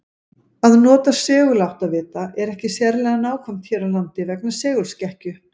Að nota seguláttavita er ekki sérlega nákvæmt hér á landi vegna segulskekkju.